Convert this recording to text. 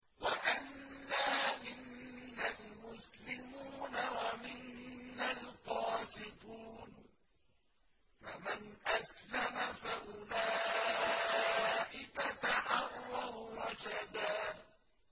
وَأَنَّا مِنَّا الْمُسْلِمُونَ وَمِنَّا الْقَاسِطُونَ ۖ فَمَنْ أَسْلَمَ فَأُولَٰئِكَ تَحَرَّوْا رَشَدًا